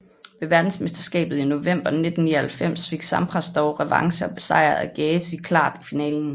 Ved verdensmesterskabet i november 1999 fik Sampras dog revanche og besejrede Agassi klart i finalen